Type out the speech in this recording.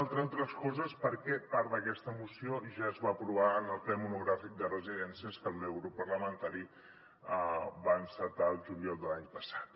entre altres coses perquè part d’aquesta moció ja es va aprovar en el ple monogràfic de residències que el meu grup parlamentari va encetar el juliol de l’any passat